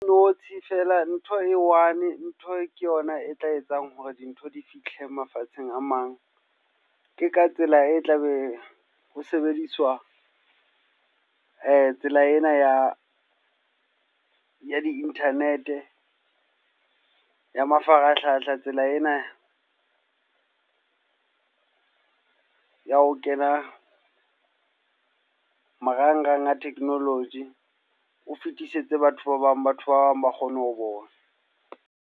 Notshi fela ntho e one. Ntho ke yona e tla etsang hore dintho di fihle mafatsheng a mang. Ke ka tsela e tla be ho sebediswa tsela ena ya di-internet, ya mafarahlahla, tsela ena ya ho kena marangrang a technology. O fetisetse batho ba bang, batho ba bang ba kgone ho bona.